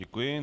Děkuji.